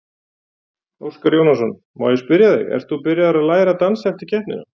Óskar Jónasson, má ég spyrja þig, ert þú byrjaður að læra að dansa eftir keppnina?